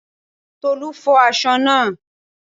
Tolu fo aṣọ naa